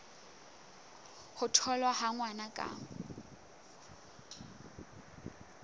ho tholwa ha ngwana ka